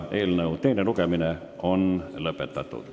Eelnõu teine lugemine on lõppenud.